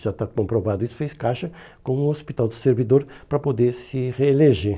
já está comprovado isso, fez caixa com o hospital do servidor para poder se reeleger.